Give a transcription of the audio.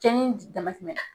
Cɛnni dama tɛmɛna .